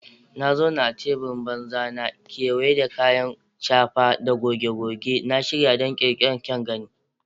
Na zauna a teburin banza na, kewaye da kayan shafa da goge-goge, na shirya don ƙirƙirar kyan gani.